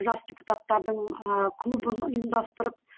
жас депутаттардың ааа клубын ұйымдастырып